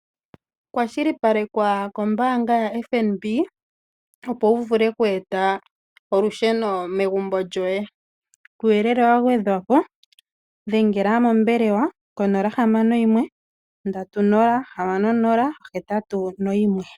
Kwashilipalekwa kombaanga ya FNB opo wu vule okweeta olusheno megumbo lyoye, kuuyelele wagwedhapo dhengela mombelewa ko 061306081